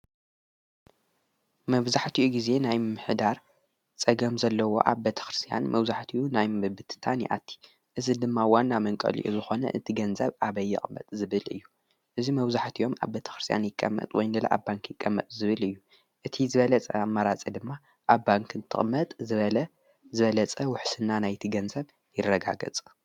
መብዛሕትእዩ ጊዜ ናይ ምምሕዳር ጸገም ዘለዎ ኣብ ቤተ ክርስያን መብዙሕትኡ ናይ ምብብትታን ይኣቲ። እዝ ድማ ዋና መንቀልእዩ ዝኾነ እቲ ገንዘብ ኣበይ ይቕመጥ ዝብል እዩ። እዚ መብዛሕቲኦም ኣብ ቤተ ክርስያን ይቀመጥ ወይ ድማ ኣብ ባንኪ ይቀመጥ ዝብል እዩ። እቲ ዝበለጸ ኣማራፂ ድማ ኣብ ባንክ እንትቕመጥ ዝበለጸ ውሕስና ናይቲ ገንዘብ ይረጋገጸ።